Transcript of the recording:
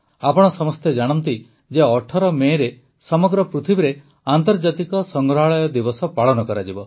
ଆପଣ ସମସ୍ତେ ଜାଣନ୍ତି ଯେ ୧୮ ମେରେ ସମଗ୍ର ପୃଥିବୀରେ ଆନ୍ତର୍ଜାତିକ ସଂଗ୍ରହାଳୟ ଦିବସ ପାଳନ କରାଯିବ